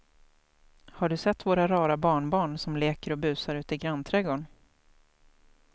Har du sett våra rara barnbarn som leker och busar ute i grannträdgården!